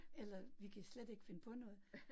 Eller vi kan slet ikke finde på noget